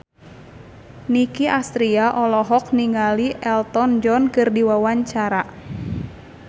Nicky Astria olohok ningali Elton John keur diwawancara